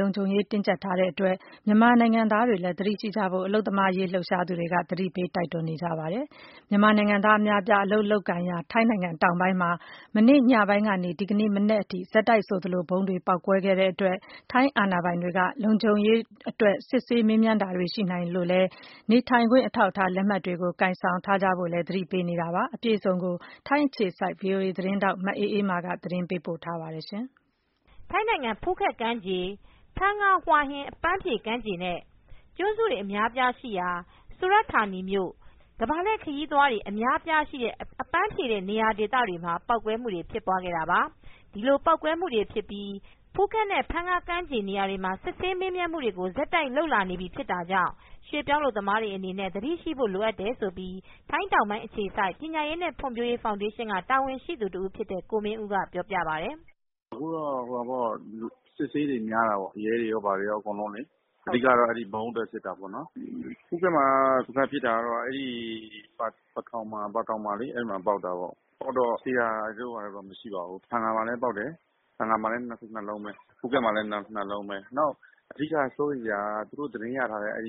လုံခြုံရေးတွေ တင်းကျပ်ထားတဲ့အတွက် မြန်မာနိုင်ငံသားတွေလည်း သတိရှိကြဖို့ အလုပ်သမားရေး လှုပ်ရှားသူတွေက တိုက်တွန်းနေကြပါတယ်။ မြန်မာနိုင်ငံသား အများအပြား အလုပ်လုပ်ကိုင်ရာ ထိုင်းနိုင်ငံ တောင်ပိုင်းမှာ မနေ့ညပိုင်းကနေ ဒီကနေ့ မနက်ပိုင်း အထိ ဆက်တိုက်ဆိုသလို ဖြစ်ခဲ့တဲ့ ဗုံးပေါက်ကွဲမှုတွေကြောင့် ထိုင်းအာဏာပိုင်တွေက လုံခြုံရေးအတွက် စစ်ဆေးမေးမြန်းမှုတွေ ရှိနိုင် တာကြောင့် နေထိုင်ခွင့် အထောက်အထားလက်မှတ်တွေကို ကိုင်ဆောင်ထားဖို့ လည်း သတိပေးနေကြပါတယ်။ အပြည့်အစုံကိုတော့ ဗွီအိုအေမြန်မာပိုင်း ထိုင်းအခြေစိုက်သတင်းထောက် မအေးမာ ကသတင်းပေးပို့ထားပါတယ်။ ထိုင်းနိုင်ငံ ဖူးခက်ကမ်းဖြေ ဖန်ငါ၊ Hua Hin အပန်းဖြေ ကမ်းခြေ နဲ့ ကျွန်းစုတွေ အများအပြားရှိရာ Surat Thani မြို့၊ ကမ္ဘာလှည့် ခရီးသွားတွေ အလာများတဲ့ အပန်းဖြေဒေသတွေမှာ ပေါက်ကွဲမှုတွေ ဖြစ်ခဲ့တာပါ။ ဒီပေါက်ကွဲမူဖြစ်ပြီး ဖူးခက်နဲ့ ဖန်င ကမ်းခြေတွေမှာ စစ်ဆေးမေးမြန်းမူတွေ ကို ဆက်တိုက် လုပ်လာနေပြီ ဖြစ် တာကြောင့် ရွှေ့ပြောင်းအလုပ်သမားတွေ အနေနဲ့ သတိရှိဖို့လိုတယ်လို့ ထိုင်းတောင်ပိုင်း အခြေစိုက် ပညာရေးနဲ့ ဖွံ့ဖြိုး ဖောင်ဒေးရှင်းက တာဝန်ရှိသူ တဦးဖြစ်တဲ့ ကိုမင်းဦးကပြောပြပါတယ်။ " အခုက အစစ်အဆေးတွေ များတာပေါ့။ ရဲတွေ ဘာတွေရော အကုန်လုံးလေ။ အဓိက ကတော့ အဲ့ဒီ့ဗုံးအတွက် စစ်တာပေါ့။ ဖူးခက်မှာကတော့ ဖထောင်မှာ ပေါက် တာပေါ့။ သေတာတို့ဘာတို့တော့ မရှိဘူး။ ဖန်ငါမှာလည်း ပေါက်တယ်။ ဖန်ငါမှာလည်း နှစ်လုံးပဲ။ ဖူးခက်မှာလည်း နှစ်လုံးပဲ။ နောက်စိုးရိမ်စရာက သူတို့သတင်း ရထားတာက